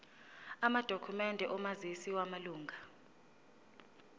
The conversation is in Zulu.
amadokhumende omazisi wamalunga